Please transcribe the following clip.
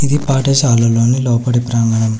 ఈ పాఠశాలలో ని లోపల ప్రాంగణం.